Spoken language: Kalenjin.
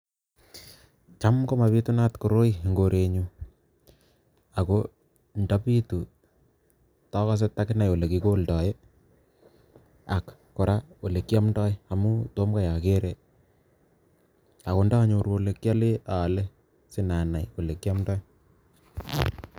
Cham komabitunat koroi eng korenyu, ako ndabitu takose takinai ole kikoldoi ii, ak kora olekiomdoi amu tom kai akere, ako ndanyoru ole kiole aale sinanai olekiomdoi.